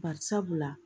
Bari sabula